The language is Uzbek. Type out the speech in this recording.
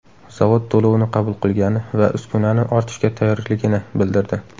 Zavod to‘lovni qabul qilgani va uskunani ortishga tayyorligini bildirdi.